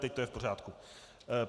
Teď to je v pořádku.